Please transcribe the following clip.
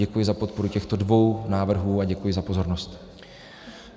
Děkuji za podporu těchto dvou návrhů a děkuji za pozornost.